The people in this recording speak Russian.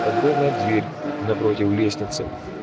огромная дверь напротив лестницы